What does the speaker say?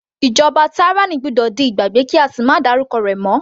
Ìjọba tyranny gbọ́dọ̀ di ìgbàgbé kí á sì máa dárúkọ rẹ̀ mọ́.